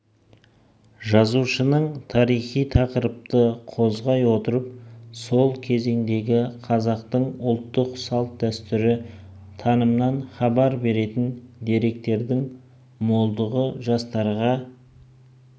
жазушының тарихи тақырыпты қозғай отырып сол кезеңдегі қазақтың ұлттық салт-дәстүрі танымынан хабар беретін деректердің молдығы жастарға